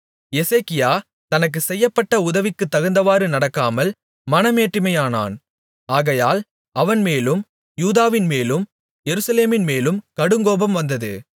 எசேக்கியா தனக்குச் செய்யப்பட்ட உதவிக்குத் தகுந்தவாறு நடக்காமல் மனமேட்டிமையானான் ஆகையால் அவன்மேலும் யூதாவின்மேலும் எருசலேமின்மேலும் கடுங்கோபம் வந்தது